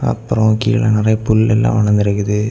அப்ரோ கீழ நிறைய புல்லெல்லா வளர்ந்து இருக்குது.